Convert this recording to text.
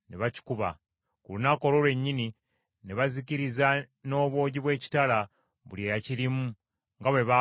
Ku lunaku olwo lwennyini ne bazikiriza n’obwogi bw’ekitala buli eyakirimu nga bwe baakola Lakisi.